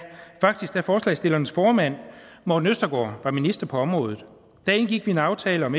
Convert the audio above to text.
faktisk da forslagsstillernes formand morten østergaard var minister på området da indgik vi en aftale om